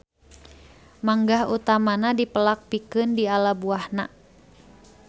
Manggah utamana dipelak pikeun diala buahna.